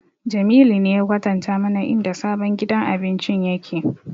Jamilu ne ya kwatanta mana inda sabon gidan abincin yake